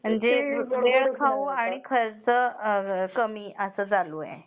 अच्छा अच्छ म्हणजे वेळ खाऊ आणि खर्च कमी आहे अस चालू आहे.